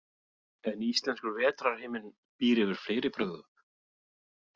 En íslenskur vetrarhiminn býr yfir fleiri brögðum.